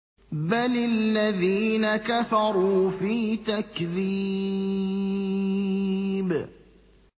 بَلِ الَّذِينَ كَفَرُوا فِي تَكْذِيبٍ